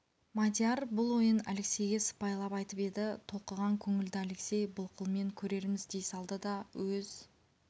мадияр бұл ойын алексейге сыпайылап айтып еді толқыған көңілді алексей былқылмен көрерміз дей салды да өз